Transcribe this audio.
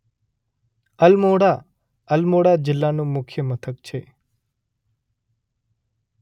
અલમોડા અલમોડા જિલ્લાનું મુખ્ય મથક છે.